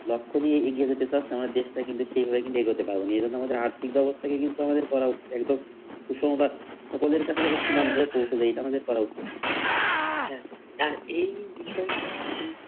লক্ষ্য নিয়ে এগিয়ে যেতে চাচ্ছে আমাদের দেশটা কিন্তু সেভাবে কিন্তু এগোতে পারবেনা এ কিন্তু আর্থিক ব্যাবস্থাকে কিন্তু করা উচিৎ একদম সুষম কাজ সকলের কাছে সমানভাবে পৌঁছে যায় এটা আমাদের করা উচিৎ ছিল। হ্যা আর এই বিষয়টা এই